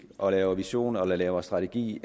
og laver visioner og laver strategi